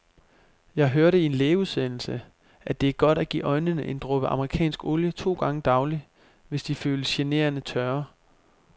Jeg hørte i en lægeudsendelse, at det er godt at give øjnene en dråbe amerikansk olie to gange daglig, hvis de føles generende tørre.